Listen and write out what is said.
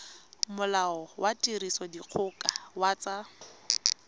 molao wa tirisodikgoka wa tsa